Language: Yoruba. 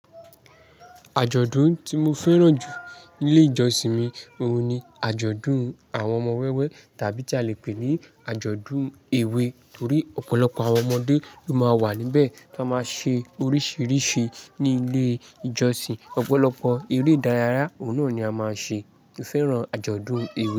Àjọ̀dún tí mo fẹ́ràn jù ní ilé ìjọsìn mi òun ni àjọ̀dún àwọn ọmọ wẹ́wẹ́ tàbí tí a le pè ní àjọ̀dún èwe torí ọ̀pọ̀lọpọ̀ àwọn ọmọdé ló máa ń wà níbẹ̀ tó máa ṣe oríṣìíríṣìí ní ilé ìjọsìn. Ọ̀pọ̀lọpọ̀ eré ìdárayá òun náà ni a máa ń ṣe. Mo fẹ́ràn àjọ̀dún èwe.